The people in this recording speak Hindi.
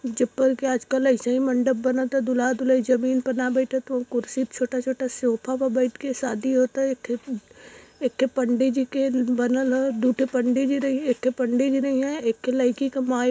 के आजकल अइसहीं मंडप बनत आ। दूलहा - दूलहीं जमीन पे ना बइठत हुंवे कुर्सी पे छोटा - छोटा सोफा पे बइठके शादी होता। एक ठे एक ठे पंडित जी के बनल हा। दुइ ठे पंडित जी रहइये एक ठे पंडित जी रइहँय एक ठी लईकी के माई --